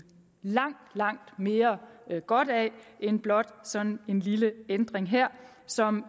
langt mere godt af end blot sådan en lille ændring her som